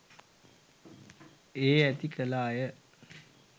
ඒ ඇති කළ අය